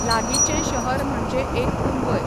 लागींचें शहर म्हणजे एक मुंबय.